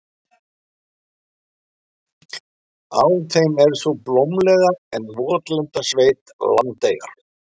Á þeim er sú blómlega en votlenda sveit, Landeyjar.